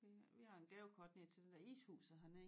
Vi vi har en gavekort ned til den der ishuset hernede